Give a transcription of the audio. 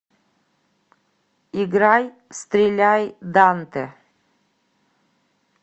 играй стреляй дантэ